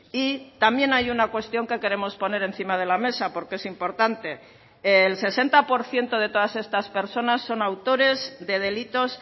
y también hay una cuestión que queremos poner encima de la mesa porque es importante el sesenta por ciento de todas estas personas son autores de delitos